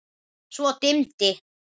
Svo dimmdi.